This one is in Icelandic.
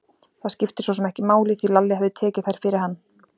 Það skipti sosum ekki máli, því Lalli hafði tekið þær fyrir hann.